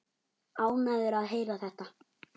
Ánægður að heyra þetta.